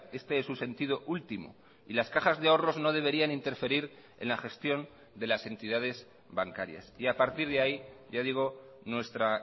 este es su sentido último y las cajas de ahorros no deberían interferir en la gestión de las entidades bancarias y a partir de ahí ya digo nuestra